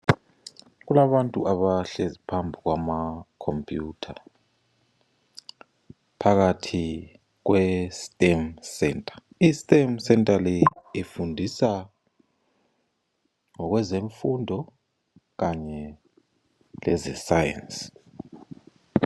Kulabantu abahlezi phambi kwamakhompiyutha. Phakathi kweStem centre. IStem centre le ifundisa ngokwezemfundo kanye lezeScience.